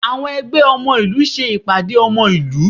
Àwọn ẹgbẹ́ ọmọ ìlú ṣe ìpàdé ọmọ ìlú